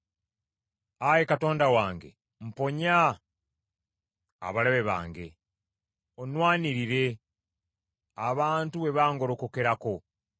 Ayi Katonda wange, mponya abalabe bange; onnwanirire, abantu bwe bangolokokerako.